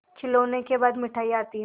खिलौनों के बाद मिठाइयाँ आती हैं